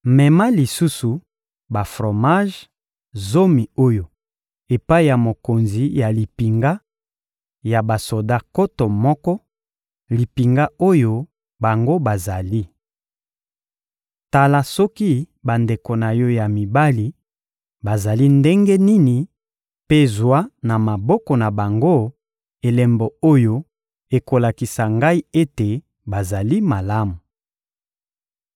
Mema lisusu ba-fromaje zomi oyo epai ya mokonzi ya limpinga ya basoda nkoto moko, limpinga oyo bango bazali. Tala soki bandeko na yo ya mibali bazali ndenge nini mpe zwa na maboko na bango elembo oyo ekolakisa ngai ete bazali malamu.